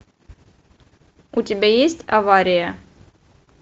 у тебя есть авария